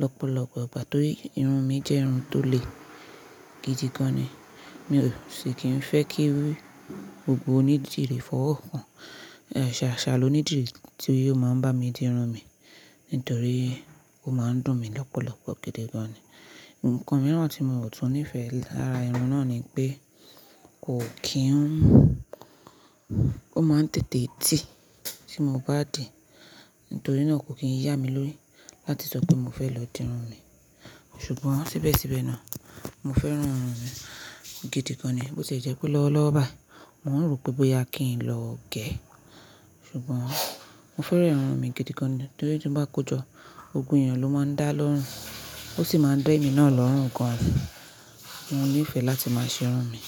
lọ́pọ̀lọpọ̀ ìgbà torí irun mi jẹ́ irun tó le gidi gan ni. Mi ò sì kí n fẹ́ kí gbogbo onídìrí fọwọ́ hàn. Ṣàṣà lonídìrí tí ó máa ń bá mi di irun mi nítorí ó máa ń dùn mí lọ́pọ̀lọpọ̀ gidi gan ni. Ǹkan mìíràn tí mio tún nífẹ̀ẹ́ lára irun náà ni pé kò kí n, ó máa ń tètè tì tí mo bá dì, nítorí náà kò kí ń yá mi lórí láti sọ pé mo fẹ́ lọ di irun mi. Ṣùgbọ́n síbẹ̀síbẹ̀ náà mo fẹ́ràn irun mi gidi gan ni bó tie jẹ́ pé lọ́wọ́lọ́wọ́ báyìí mo rò pé bóyá kí n lọ gé ẹ́. Ṣùgbọ́n mo fẹ́ràn irun mi gidi gan ni torí tí mo bá kojọ́ gbogbo èyàn ló máa ń dá lọ́rùn, ó sì máa ń dá emi náà lọ́rùn gan ni. Mo nífẹ̀ẹ́ láti máa ṣe irun mi.